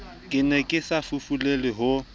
ke ne ke safufulelwa ho